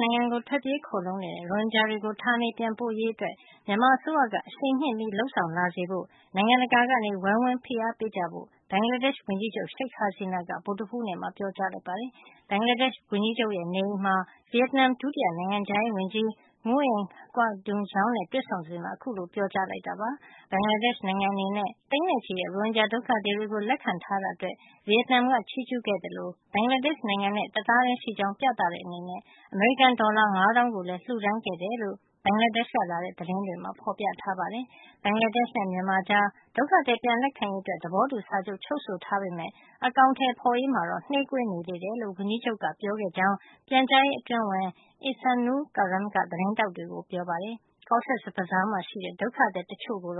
နိုင်ငံကို ထွက်ပြေးခိုလှုံနေတဲ့ ရိုဟင်ဂျာတွေကို ဌာနေပြန်ပို့ရေးကို မြန်မာအစိုးရက အရှိန်မြှင့် လုပ်ဆောင်လာစေဖို့ နိုင်ငံတကာက ဝိုင်းဝန် ဖိအားပေးကြဖို့ ဘင်္ဂလားဒေ့ရှ် ဝန်ကြီးချုပ် Sheik Hasina က ဗုဒ္ဓဟူးနေ့မှာ ပြောပါတယ်။ ဘင်္ဂလားဒေ့ရှ် ဝန်ကြီးချုပ်ရဲ့ နေအိမ်မှာ ဗီယက်နမ် ဒုတိယ နိုင်ငံခြားရေးဝန်ကြီး Nguyen Quoc Dzung နဲ့ တွေ့ဆုံစဉ်မှာ အခုလို ပြောကြားလိုက်တာပါ။ ဘင်္ဂလားဒေ့ရှ် နိုင်ငံအနေနဲ့ သိန်းနဲ့ ချီတဲ့ ရိုဟင်ဂျာ ဒုက္ခသည်တွေကို လက်ခံထားတာအတွက် ဗီယက်နမ်က ချီးကြူး ခဲ့သလို ဘင်္ဂလားဒေ့ရှ့် နိုင်ငံနဲ့ တသားထဲ ရှိကြောင်း ပြသတဲ့အနေနဲ့ အမေရိကန် ဒေါ်လာ ၅ သောင်းကိုလည်း လှုဒါန်းခဲ့တယ်လို့ ဘင်္ဂလားဒေ့ရှ်ကလာတဲ့ သတင်းတွေမှာ ဖေါ်ပြထားပါတယ်။ ဘင်္ဂလားဒေ့ရှ်နဲ့ မြန်မာကြား ဒုက္ခသည် ပြန်လက်ခံရေးအတွက် သဘောတူစာချုပ် ချုပ်ဆိုထားပေမယ့် အကောင်ထည်ဖေါ်ရေးမှာတော့ နှေးကွေးနေသေးတယ်လို့ ဝန်ကြီးချုပ်က ပြောခဲ့ကြောင်း ပြန်ကြားရေးအတွင်းဝန် Ihsanul Karim က သတင်းထောက်တွေကို ပြောပါတယ်။ Cox’s Bazar မှာ ရှိတဲ့ ဒုက္ခသည် တချို့ကို